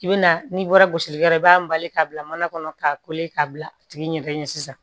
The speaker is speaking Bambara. I bi na n'i bɔra gosi yɔrɔ i b'a bali k'a bila mana kɔnɔ k'a k'a bila a tigi ɲɛ sisan